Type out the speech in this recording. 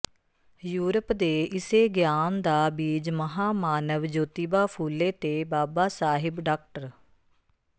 Europe ਦੇ ਇਸੇ ਗਿਆਨ ਦਾ ਬੀਜ ਮਹਾਮਾਨਵ ਜੋਤੀਬਾ ਫੂਲੇ ਤੇ ਬਾਬਾ ਸਾਹਿਬ ਡਾ